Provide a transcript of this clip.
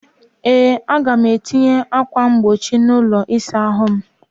Ee, Aga m etinye ákwà mkpuchi n'ụlọ ịsa ahụ m.